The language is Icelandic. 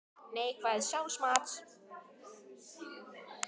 Neikvæðs sjálfsmats.